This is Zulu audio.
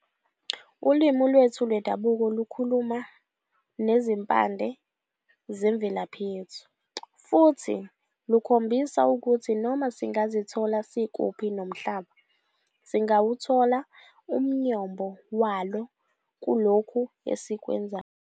Ulwimi lwethu lwendabuko lukhuluma nezimpande zemvelaphi yethu, futhi lukhombisa ukuthi noma singazithola sikuphi nomhlaba, singawuthola umyombo walo kulokho esikwenzayo.